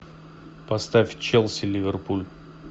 поставь челси ливерпуль